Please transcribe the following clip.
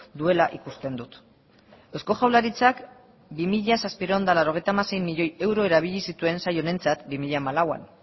duela ikusten dut eusko jaurlaritzak bi mila zazpiehun eta laurogeita hamasei milioi euro erabili zituen saio honentzat bi mila hamalauan